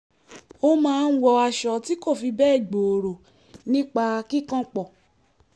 ó máa ń wọ aṣọ tí kò fi bẹ́ẹ̀ gbòòrò nípa kíkànpọ̀